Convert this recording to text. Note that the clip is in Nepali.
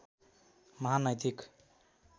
महान नैतिक